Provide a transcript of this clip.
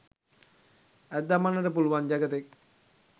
ඇද දමන්නට පුළුවන් ජගතෙක්